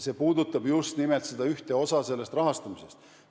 See puudutab just nimelt seda ühte osa sellest rahastamisest.